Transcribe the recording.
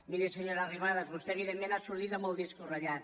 miri senyora arrimadas vostè evidentment ha sortit amb el disc ratllat